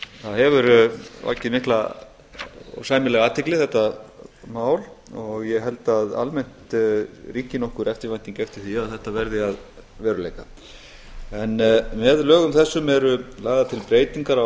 það hefur vakið mikla og sæmilega athygli þetta mál og ég held að almennt ríki nokkur eftirvænting eftir því að þetta verði að veruleika en með lögum þessum eru lagðar til breytingar á